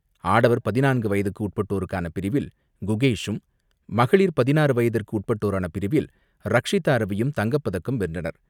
ஆடவர் பதினான்கு வயதிற்கு உட்பட்டோருக்கான பிரிவில் குகேஷும், மகளிர் பதினாறு வயதிற்கு உட்பட்டோருக்கான பிரிவில் ரக்ஷிதா ரவியும் தங்கப்பதக்கம் வென்றனர்.